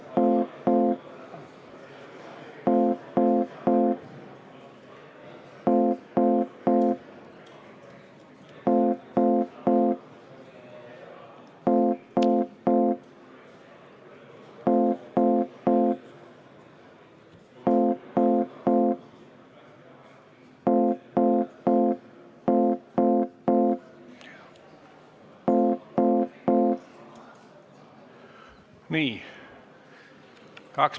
Istungi lõpp kell 12.42.